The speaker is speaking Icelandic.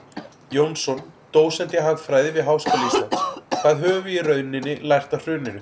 Jónsson, dósent í hagfræði við Háskóla Íslands: Hvað höfum við í rauninni lært af hruninu?